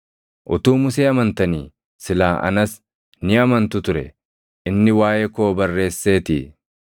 Utuu Musee amantanii silaa anas ni amantu ture; inni waaʼee koo barreesseetii.